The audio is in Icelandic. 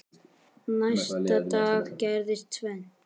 Næsta dag gerðist tvennt.